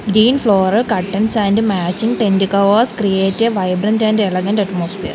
green floor curtains and matching tent covers create a vibrant and elegant atmosphere.